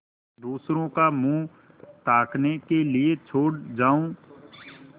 दूसरों का मुँह ताकने के लिए छोड़ जाऊँ